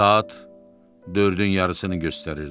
Saat dördün yarısını göstərirdi.